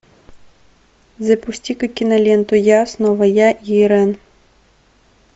запусти ка киноленту я снова я и ирэн